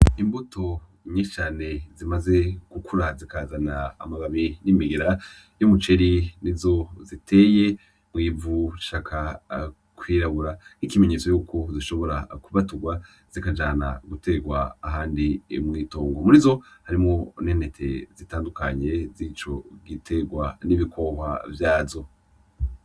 Imbuto nyinshi cane zimaze gukura zikazana amababi n'imihira y'umuceri nizo ziteye mw'ivu rishaka kwirabura nk'ikimenyetso yuko zishobora kubaturwa zikajana guterwa ahandi mw'itongo, murizo harimwo n'intete zitandukanye zico giterwa n'ibikohwa vyazo.